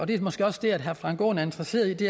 det er måske også det herre frank aaen er interesseret i